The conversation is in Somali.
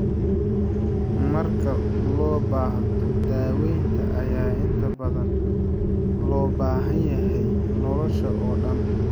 Marka loo baahdo, daawaynta ayaa inta badan loo baahan yahay nolosha oo dhan.